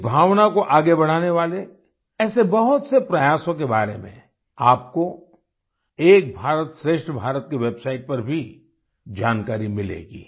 इस भावना को आगे बढ़ाने वाले ऐसे बहुत से प्रयासों के बारे में आपको एक भारतश्रेष्ठ भारत की वेब सिते पर भी जानकारी मिलेगी